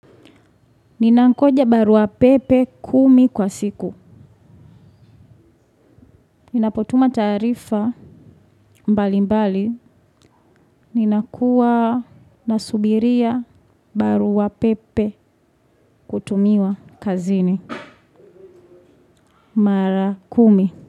Ninankoja barua pepe kumi kwa siku. Ninapotuma taarifa mbali mbali. Ninakuwa na subiria barua pepe kutumiwa kazini. Mara kumi.